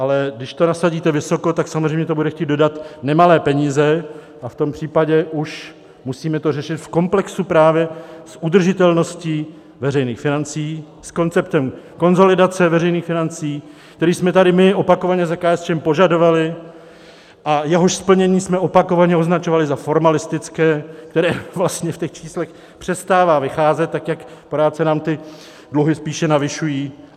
Ale když to nasadíte vysoko, tak samozřejmě to bude chtít dodat nemalé peníze, a v tom případě už musíme to řešit v komplexu právě s udržitelností veřejných financí, s konceptem konsolidace veřejných financí, který jsme tady my opakovaně za KSČM požadovali a jehož splnění jsme opakovaně označovali za formalistické, které vlastně v těch číslech přestává vycházet, tak jak pořád se nám ty dluhy spíše navyšují.